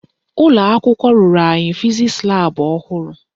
Ụlọakwụkwọ rụrụ anyị fizisi laabụ ọhụrụ